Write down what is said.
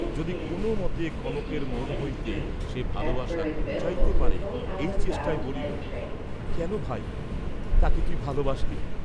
যদি কোন মতে কনকের মন হইতে সে ভালবাসা ঘুচাইতে পারে এই চেষ্টায় বলিল, কেন ভাই, তাকে তুই ভালবাসলি?